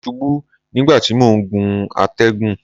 Mo ṣubú nígbà tí mò ń gun àtẹ̀gùn.